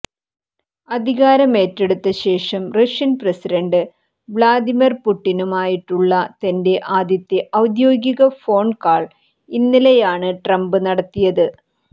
അധികാരമേറ്റെടുത്ത ശേഷം Russian president Vladimir പുട്ടിനുമായിട്ടുള്ള തന്റെ ആദ്യത്തെ ഔദ്യോഗിക ഫോൺ കാൾ ഇന്നലെയാണ് ട്രംപ് നടത്തിയത്